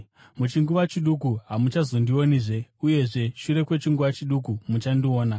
“Muchinguva chiduku, hamuchazondionizve, uyezve shure kwechinguva chiduku muchandiona.”